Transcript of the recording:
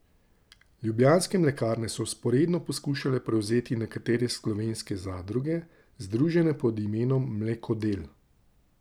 Ljubljanske mlekarne so vzporedno poskušale prevzeti nekatere slovenske zadruge, združene pod imenom Mlekodel.